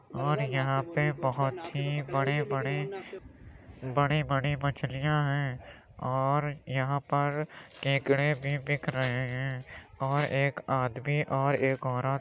और यहां पे बहोत ही बड़े-बड़े बड़ी-बड़ी मछलियां हैं और यहां पर केकड़े भी बिक रहे हैं और एक आदमी और एक औरत --